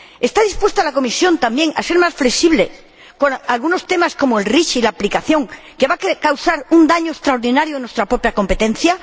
¿Está dispuesta la Comisión también a ser más flexible con algunos temas como REACH y su aplicación, que va a causar un daño extraordinario en nuestra propia competencia?